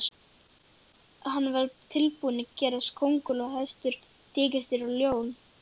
Hann var tilbúinn að gerast kónguló, hestur, tígrisdýr og ljón.